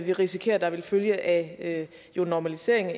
vi risikerer vil følge af en normalisering